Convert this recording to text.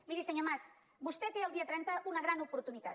miri senyor mas vostè té el dia trenta una gran oportunitat